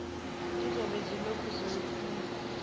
zizobe zilokhu zifunwa